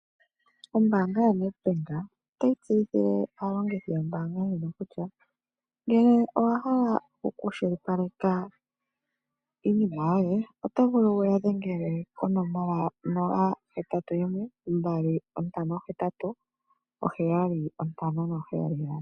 Ombaanga yoNedbank otayi tseyithile aalongithi yombaanga ndjino kutya, ngele owahala okukwashilipaleka iinima yoye otovulu wuya dhengele konomola 0812587577.